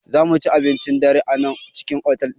Zamuci abincin dare a nan cikin otal ɗin